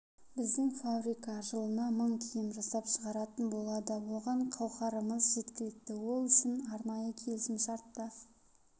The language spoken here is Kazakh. біздің фабрика жылына мың киім жасап шығаратын болады оған қаухарымыз жеткілікті ол үшін арнайы келісімшарт та